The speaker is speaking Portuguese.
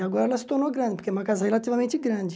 E agora ela se tornou grande, porque é uma casa relativamente grande.